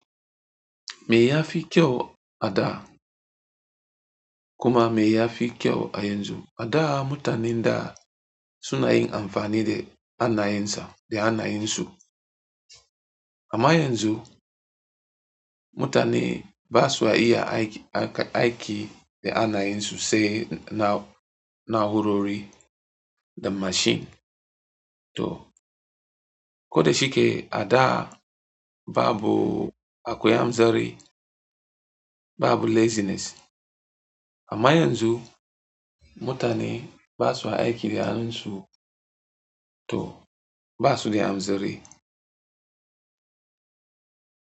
Me ya fi kyau a da kuma me ya fi kyau a yanzu? A da mutanen da suna yin amfani da hannayensa da hannayensu amma yanzu mutane ba suwa iya aiki da anayi sosai da naurori da machine to koda shike a da babu akwai hanzari, babu laziness amma yanzu mutane ba suwa aiki da hannuns u to ba su da hanzari.